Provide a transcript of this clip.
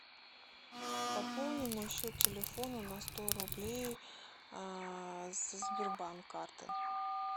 пополни мой счет телефона на сто рублей со сбербанк карты